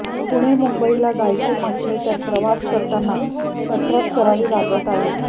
पुणे मुंबईला जायचे म्हटले तर प्रवास करताना कसरत करावी लागत आहे